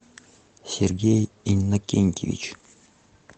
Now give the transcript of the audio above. сергей иннокентьевич